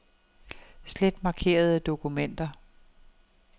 Slet markerede dokumenter.